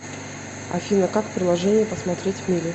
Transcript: афина как в приложении посмотреть мили